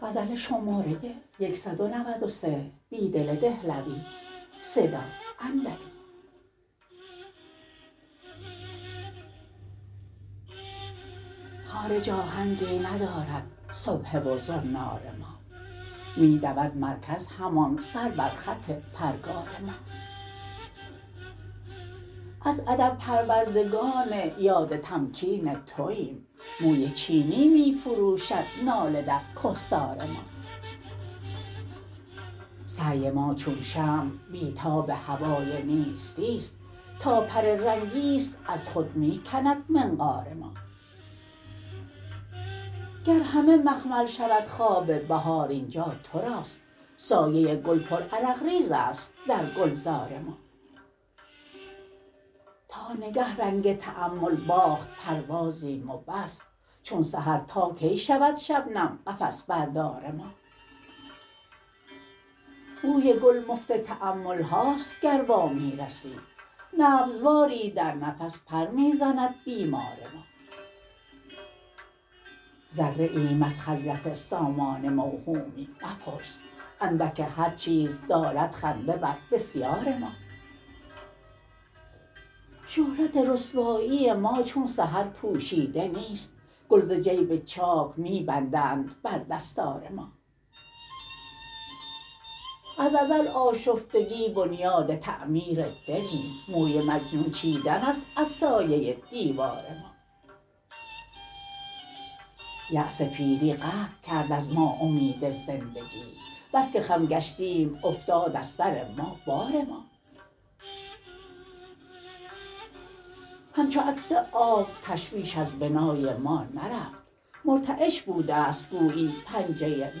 خارج آهنگی ندارد سبحه و زنار ما می دود مرکز همان سر بر خط پرگار ما از ادب پروردگان یاد تمکین توایم موی چینی می فروشد ناله درکهسار ما سعی ماچون شمع بیتاب هوای نیستی ست تا پر رنگی ست از خود می کند منقار ما گرهمه مخمل شودخواب بهار اینجاتراست سایه گل پر عرق ریزست درگلزار ما تا نگه رنگ تأمل باخت پروازیم و بس چون سحر تاکی شودشبنم قفس بردارما بوی گل مفت تأمل هاست گر وامی رسی نبض واری در نفس پر می زند بیمار ما ذره ایم از خجلت سامان موهومی مپرس اندک هرچیز دارد خنده بر بسیار ما شهرت رسوایی ماچون سحرپوشیده نیست گل ز جیب چاک می بندند بر دستار ما از ازل آشفتگی بنیاد تعمیر دلیم موی مجنون چیدن است از سایه دیوارما یأس پیری قطع کرد از ما امید زندگی بسکه خم گشتیم افتاد از سر ما بار ما همچوعکس آب تشویش ازبنای ما نرفت مرتعش بوده ست گویی پنجه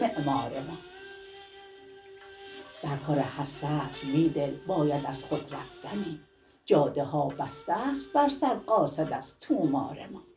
معمار ما در خور هرسطر بیدل باید ازخود رفتنی جاده ها بسته ست بر سر قاصد از طومار ما